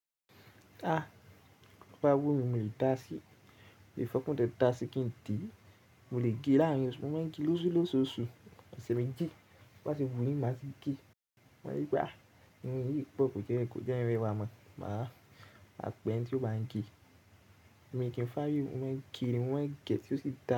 A! Bo ba wù mí, mi o dáa sí. Ìfẹ́kùn tẹ́ dáa sí kí n dì. Mo lè gé láàrín oṣù, mo máa ń gé lósúlósù oṣù. Ọ̀sẹ̀ méjì bá ti wù mí máa ti gé. Wọ́n yí pé ah! Ìmú rí pọ̀ kò jẹ́ ẹran wa mọ̀. Màá pe eni tí ó báa ń gé. Èmi kì í fàari, mo máa ń gé, mo máa ń gẹ̀ tí ó sì da.